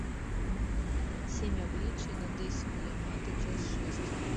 семь обличий надэсико ямато часть шесть